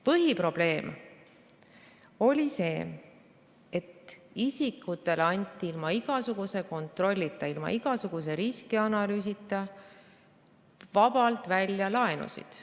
Põhiprobleem oli see, et isikutele anti ilma igasuguse kontrollita, ilma igasuguse riskianalüüsita vabalt välja laenusid.